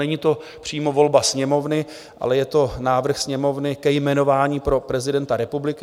Není to přímo volba Sněmovny, ale je to návrh Sněmovny ke jmenování pro prezidenta republiky.